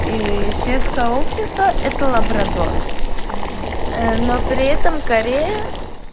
и светское общество это лабрадор но но при этом корея